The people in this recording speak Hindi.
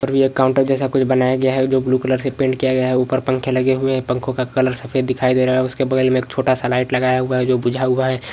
पर्वीय काउंटर जैसा कुछ बनाया गया है हो ब्लू कलर से पेंट किया गया है ऊपर पंखे लगे हुए है पंखो का कलर सफ़ेद दिखाई दे रहा है उसके बगल में एक छोटा सा लाईट लगाया हुआ है जो बुझा हुआ है।